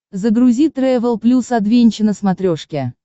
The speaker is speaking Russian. загрузи трэвел плюс адвенча на смотрешке